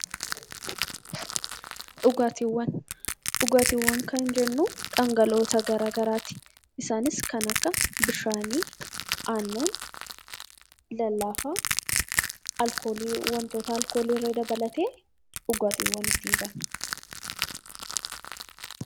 Dhugaatiiwwan kan jennu dhangala'oowwan garaagaraati. Isaanis kana akka bishaanii, aannan, lallaafaa, alkoolii illee dabalatee dhugaatiiwwan ittiin jenna.